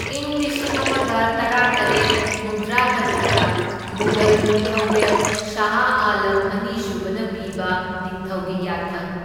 ꯢꯪ ꯂꯤꯁꯤꯡ ꯑꯃꯒ ꯇꯔꯥꯇꯔꯦꯠ ꯍꯨꯝꯗ꯭ꯔꯥꯇꯔꯨꯛꯇ ꯃꯨꯘꯜ ꯅꯤꯡꯊꯧꯔꯦꯜ ꯁꯥꯍ ꯑꯥꯂꯝ ꯑꯅꯤꯁꯨꯕꯅ ꯄꯤꯕ ꯅꯤꯡꯊꯧꯒꯤ ꯌꯥꯊꯪ꯫